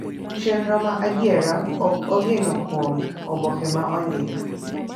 Chenro ma adiera ok geno kuom oboke ma ondik